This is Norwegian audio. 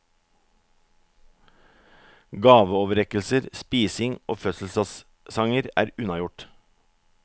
Gaveoverrekkelser, spising og fødselsdagssanger er unnagjort.